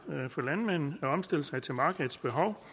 for landmanden at omstille sig til markedets behov